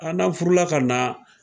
Aa n'a furu la ka na.